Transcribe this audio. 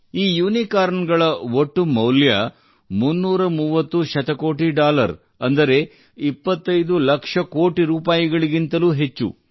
ಈ ಯುನಿಕಾರ್ನ್ ಗಳ ಒಟ್ಟು ಮೌಲ್ಯ 330 ಶತಕೋಟಿ ಡಾಲರ್ ಅಂದರೆ 25 ಲಕ್ಷ ಕೋಟಿ ರೂಪಾಯಿಗಿಂತಲೂ ಹೆಚ್ಚು